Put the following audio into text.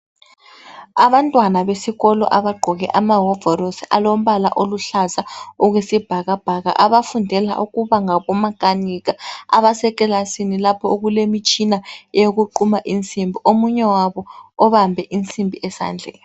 Abantwana besikolo abagqoke ama hovorosi alombala oluhlaza okwesibhakabhaka abafundela ukuba ngomakanika abaseklasin lapha okulemitshina wokuquma insimbi omunye wabo ubambe insimbi esandleni